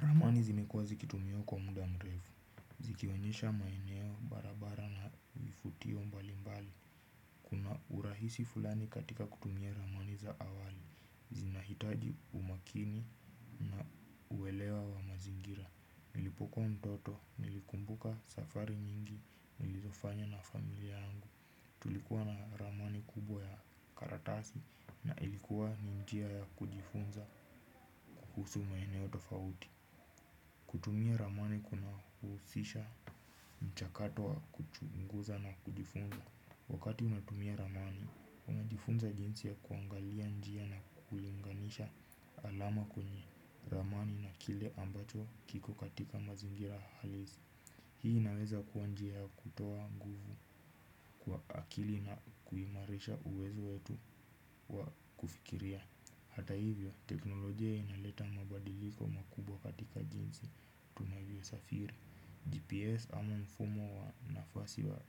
Ramani zimekuwa zikitumiwa kwa muda mrefu. Zikioenyesha maeneo barabara na vifutio mbali mbali. Kuna urahisi fulani katika kutumia ramani za awali. Zinahitaji umakini na uwelewa wa mazingira. Nilipokuwa mtoto, nilikumbuka safari nyingi, nilizofanya na familia yangu. Tulikuwa na ramani kubwa ya karatasi na ilikuwa ni njia ya kujifunza kuhusu maeneo tofauti. Kutumia ramani kuna husisha mchakato wa kuchunguza na kujifunza. Wakati unatumia ramani, umajifunza jinsi ya kuangalia njia na kuiunganisha alama kwenye ramani na kile ambacho kiko katika mazingira halisi. Hii inaweza kuwa njia ya kutoa nguvu kwa akili na kuimarisha uwezo wetu wa kufikiria. Hata hivyo, teknolojia inaleta mabadiliko makubwa katika jinsi, tunavyo safiri. GPS ama mfumo wa nafasi wa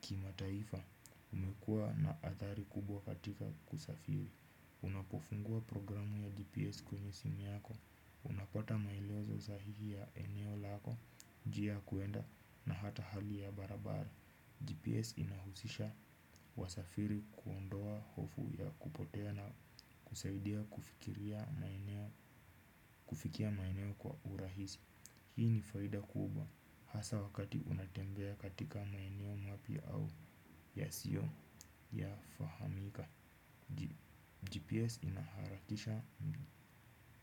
kima taifa, umekua na athari kubwa katika kusafiri. Unapofungua programu ya GPS kwenye simu yako, unapata maeleozo sahihi ya eneo lako, njia ya kuenda na hata hali ya barabara. GPS inahusisha wasafiri kuondoa hofu ya kupotea na kusaidia kufikia maeneo kwa urahisi. Hii ni faida kubwa hasa wakati unatembea katika maeneo mapya au ya sio ya fahamika GPS inaharakisha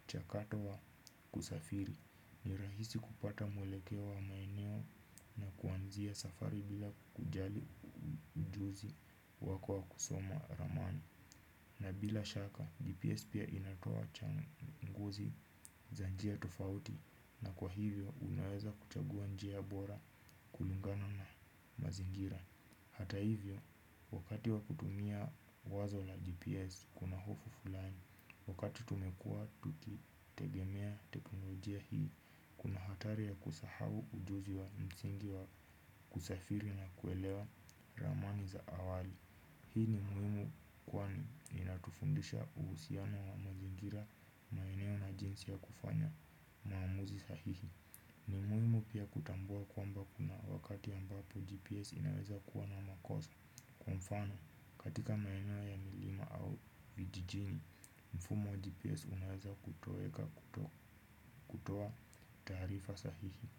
mchakato wa kusafiri. Ni rahisi kupata mwelekeo wa maeneo na kuanzia safari bila kujali ujuzi wako wa kusoma ramani. Na bila shaka GPS pia inatoa changu nguzi za njia tofauti na kwa hivyo unaweza kuchagua njia bora kulingana na mazingira. Hata hivyo wakati wakutumia wazo la GPS kuna hofu fulani. Wakati tumekua tukitegemea teknolojia hii kuna hatari ya kusahau ujuzi wa msingi wa kusafiri na kuelewa ramani za awali. Hii ni muhimu kwani inatufundisha uhusiano wa mazingira maeneo na jinsi ya kufanya maamuzi sahihi. Ni muhimu pia kutambua kwamba kuna wakati ambapo GPS inaweza kuwa na makosa. Kwa mfano katika maeneo ya milima au vijijini mfumo wa GPS unaweza kutoeka kutoa taarifa sahihi.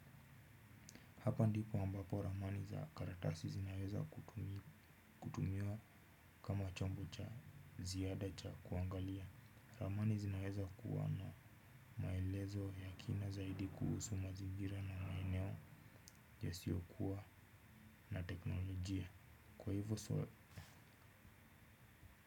Hapa ndipo ambapo ramani za karatasi zinaweza kutumia kutumia kama chombo cha ziada cha kuangalia ramani zinaweza kuwana maelezo ya kina zaidi kuhusu mazingira na maeneo yasiyokuwa na teknolojia kwa hivyo so.